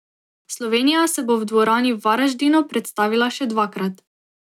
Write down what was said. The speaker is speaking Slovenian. Slovenija se bo v dvorani v Varaždinu predstavila še dvakrat.